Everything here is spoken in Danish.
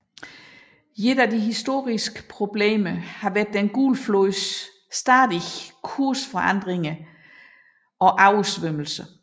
Et af de historiske problemer har vært Den gule flods stadige kursforandringer og oversvømmelser